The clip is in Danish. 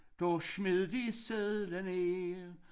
Da smed de sedler ned